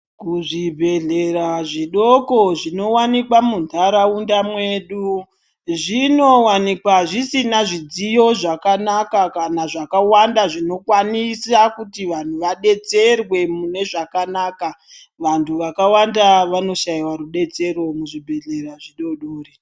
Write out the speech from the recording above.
Ku zvibhedhlera zvidoko zvino wanikwa mu ndaraunda mwedu zvino wanikwa zvisina zvidziyo zvaka naka kana zvaka wanda zvino kwanisa kuti vanhu va detserwe mune zvakanaka vantu vaka wanda vano shaiwa rudetsero mu zvibhedhleya zvi dodori.